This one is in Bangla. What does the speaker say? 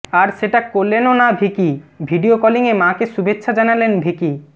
আর সেটা করলেনও না ভিকি ভিডিও কলিংয়ে মাকে শুভেচ্ছা জানালেন ভিকি